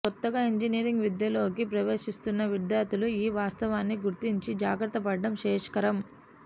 కొత్తగా ఇంజినీరింగ్ విద్యలోకి ప్రవేశిస్తున్న విద్యార్థులు ఈ వాస్తవాన్ని గుర్తించి జాగ్రత్తపడడం శ్రేయస్కరం